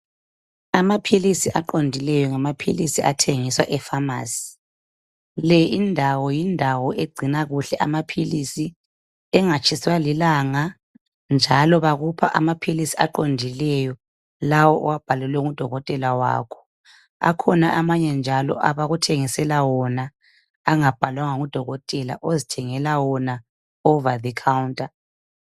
Amaphilisi aqondileyo ngamaphilisi athengiswa efamasi. Le indawo, yindawo egcina kuhle amaphilisi engatshiswa lilanga njalo bakupha amaphilisi aqondileyo lawo owabhalelwe ngudokotela wakho. Akhona amanye njalo abakuthengisela wona angawabhalwanga ngudokotela ozithengela wona over the counter.